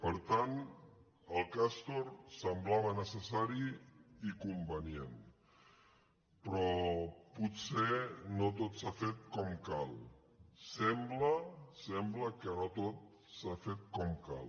per tant el castor semblava necessari i convenient però potser no tot s’ha fet com cal sembla sembla que no tot s’ha fet com cal